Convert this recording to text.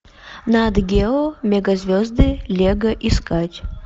нат гео мега звезды лего искать